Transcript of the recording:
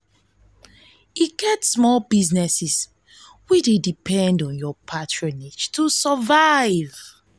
e get small businesses wey wey dey depend on yur patronage to survive.